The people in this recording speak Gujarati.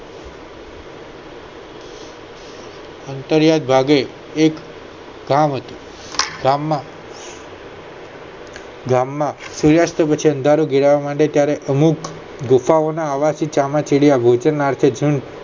અંતર્યાય ભાગે એક ગામ હતું ગામ માં ગામ માં સુર્યાસ્ત પછી અંધારું ઘેરાવા માંડે ત્યારે અમૂક ગુફાઓ ના અવાજ થી ચામાચીડિયા ગોઠણ નાથે